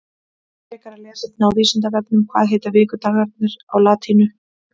Frekara lesefni á Vísindavefnum Hvað heita vikudagarnir á latínu?